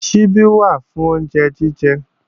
Ṣíbí wà fún oúnjẹ jíjẹ